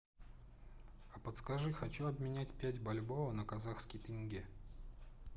а подскажи хочу обменять пять бальбоа на казахский тенге